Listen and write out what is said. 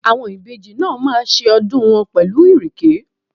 Àwọn ìbejì náà máa ṣe ọdún wọn pẹ̀lú Ìrèké?